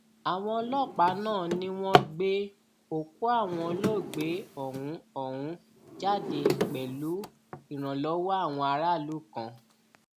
àwọn ọlọpàá náà ni wọn gbé òkú àwọn olóògbé ọhún ọhún jáde pẹlú ìrànlọwọ àwọn aráàlú kan